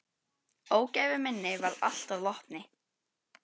Ógæfu minni varð allt að vopni.